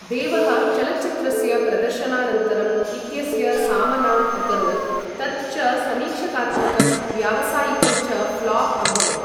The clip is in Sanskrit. देवः चलच्चित्रस्य प्रदर्शनानन्तरं इत्यस्य सामनाम् अकरोत्, तत् च समीक्षात्मकं व्यावसायिकं च फ्लॉप् अभवत् ।